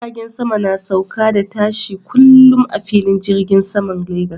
Jiragen sama na sauka da tashi kullum a filin jirgin saman Lagos.